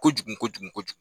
Kojugu kojugu kojugu kojugu